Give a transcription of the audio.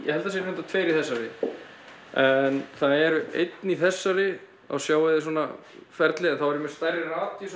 reyndar tveir í þessari það er einn í þessari þá sjáið þið ferlið ég er með stærri radíus